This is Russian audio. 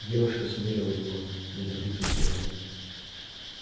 девушка смерила его неодобрительным взглядом